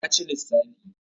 ya ci lissafi